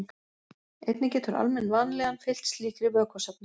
Einnig getur almenn vanlíðan fylgt slíkri vökvasöfnun.